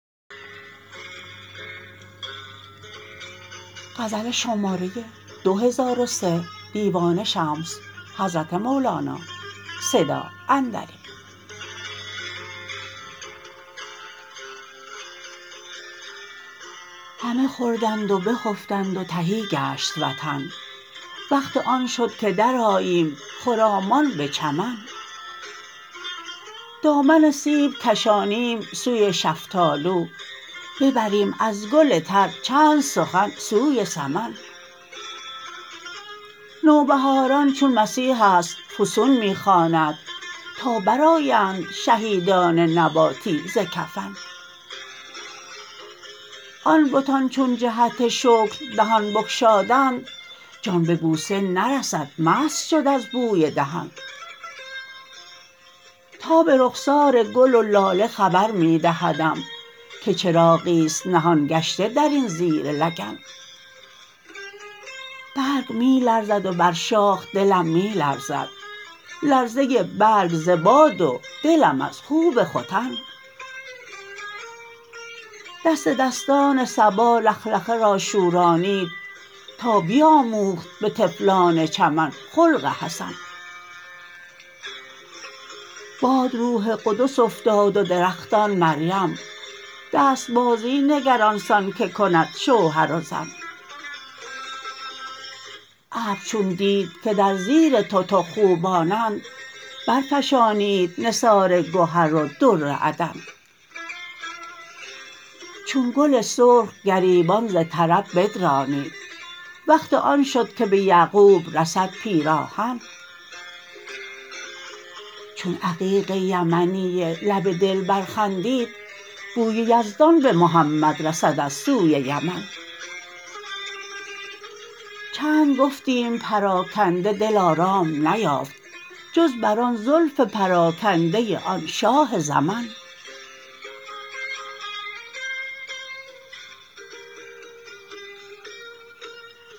همه خوردند و بخفتند و تهی گشت وطن وقت آن شد که درآییم خرامان به چمن دامن سیب کشانیم سوی شفتالو ببریم از گل تر چند سخن سوی سمن نوبهاران چون مسیحی است فسون می خواند تا برآیند شهیدان نباتی ز کفن آن بتان چون جهت شکر دهان بگشادند جان به بوسه نرسد مست شد از بوی دهن تاب رخسار گل و لاله خبر می دهدم که چراغی است نهان گشته در این زیر لگن برگ می لرزد و بر شاخ دلم می لرزد لرزه برگ ز باد و دلم از خوب ختن دست دستان صبا لخلخه را شورانید تا بیاموخت به طفلان چمن خلق حسن باد روح قدس افتاد و درختان مریم دست بازی نگر آن سان که کند شوهر و زن ابر چون دید که در زیر تتق خوبانند برفشانید نثار گهر و در عدن چون گل سرخ گریبان ز طرب بدرانید وقت آن شد که به یعقوب رسد پیراهن چون عقیق یمنی لب دلبر خندید بوی یزدان به محمد رسد از سوی یمن چند گفتیم پراکنده دل آرام نیافت جز بر آن زلف پراکنده آن شاه زمن